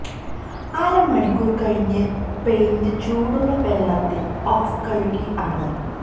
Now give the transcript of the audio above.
അര മണിക്കൂർ കഴിഞ്ഞ് പെയിന്റ് ചൂടുള്ള വെള്ളത്തിൽ ഓഫ് കഴുകി ആണ്